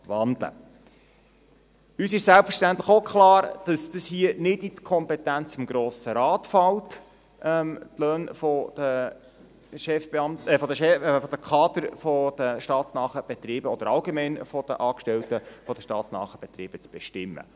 Uns ist selbstverständlich auch klar, dass es nicht in die Kompetenz des Grossen Rates fällt, die Löhne der Chefbeamten, der Kader der staatsnahen Betriebe oder allgemein der Angestellten zu bestimmen.